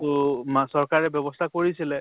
তʼ মা চৰকাৰে ব্য়ৱস্থা কৰিছিলে